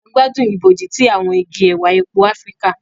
A gbádùn ibojì ti awọn igi ẹwà èpo Áfíríkà.